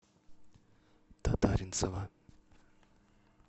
татаринцева